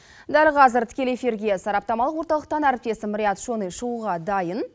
дәл қазір тікелей эфирге сараптамалық орталықтан әріптесім рият шони шығуға дайын